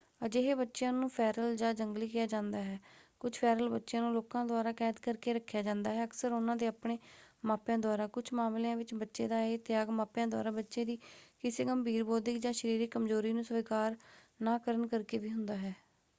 ਅਜਿਹੇ ਬੱਚਿਆਂ ਨੂੰ ਫ਼ੈਰਲ ਜਾਂ ਜੰਗਲੀ ਕਿਹਾ ਜਾਂਦਾ ਹੈ। ਕੁਝ ਫ਼ੈਰਲ ਬੱਚਿਆਂ ਨੂੰ ਲੋਕਾਂ ਦੁਆਰਾ ਕੈਦ ਕਰ ਕੇ ਰੱਖਿਆ ਜਾਂਦਾ ਹੈ ਅਕਸਰ ਉਹਨਾਂ ਦੇ ਆਪਣੇ ਮਾਪਿਆਂ ਦੁਆਰਾ; ਕੁਝ ਮਾਮਲਿਆਂ ਵਿੱਚ ਬੱਚੇ ਦਾ ਇਹ ਤਿਆਗ ਮਾਪਿਆਂ ਦੁਆਰਾ ਬੱਚੇ ਦੀ ਕਿਸੇ ਗੰਭੀਰ ਬੌਧਿਕ ਜਾਂ ਸਰੀਰਕ ਕਮਜ਼ੋਰੀ ਨੂੰ ਸਵੀਕਾਰ ਨਾ ਕਰਨ ਕਰਕੇ ਵੀ ਹੁੰਦਾ ਹੈ।